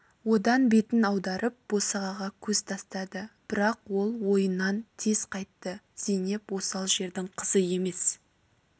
одан бетін аударып босағаға көз тастады бірақ ол ойынан тез қайтты зейнеп осал жердің қызы емес